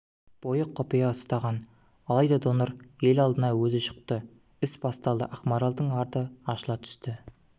бойы құпия ұстаған алайда донор ел алдына өзі шықты іс басталды ақмаралдың арты ашыла түсті